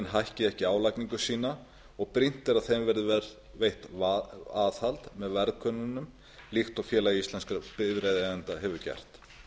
hækki ekki álagningu sína og brýnt er að þeim verði veitt aðhald með verðkönnunum líkt og félag íslenskra bifreiðaeigenda hefur gert